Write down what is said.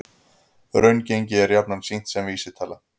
Raungengi er jafnan sýnt sem vísitala